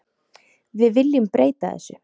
Við viljum breyta þessu.